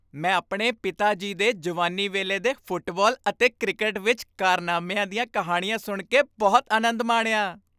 ਮੈਂ ਆਪਣੇ ਪਿਤਾ ਜੀ ਦੇ ਜਵਾਨੀ ਵੇਲੇ ਦੇ ਫੁੱਟਬਾਲ ਅਤੇ ਕ੍ਰਿਕਟ ਵਿੱਚ ਕਾਰਨਾਮਿਆਂ ਦੀਆਂ ਕਹਾਣੀਆਂ ਸੁਣ ਕੇ ਬਹੁਤ ਆਨੰਦ ਮਾਣਿਆ।